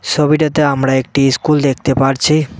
ছবিটাতে আমরা একটি ইস্কুল দেখতে পারছি।